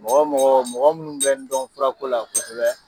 Mɔgɔ mɔgɔ mɔgɔ minnu bɛ n dɔn furako la kosɛbɛ